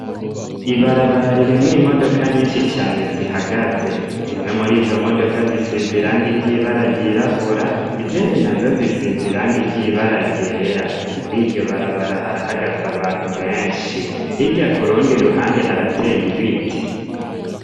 Ibarabara ririmwo imodoka nyinshi cane zihagaze, zimwe muri izo modoka zisize irangi ry'ibara ryirabura izindi nazo zisize irangi ry'ibara ryera, muri iryo barabara harahagaze abantu benshi, hirya kurundi ruhande harateye ibiti.